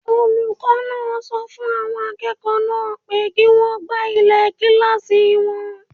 Olùkọ́ náà sọ fún àwọn akẹ́kọ̀ọ́ náà pé kí wọ́n gbá ilẹ̀ kílásì wọn